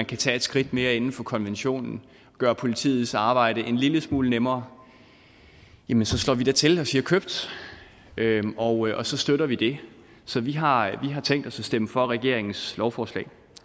kan tage et skridt mere inden for konventionen gøre politiets arbejde en lille smule nemmere jamen så slår vi da til og siger købt og så støtter vi det så vi har tænkt os at stemme for regeringens lovforslag